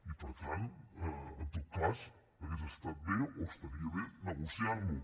i per tant en tot cas hauria estat bé o estaria bé negociar lo